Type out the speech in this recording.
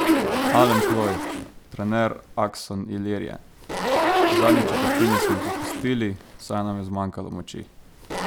Alen Ploj, trener Akson Ilirije: "V zadnji četrtini smo popustili, saj nam je zmanjkalo moči.